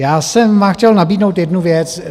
Já jsem vám chtěl nabídnout jednu věc.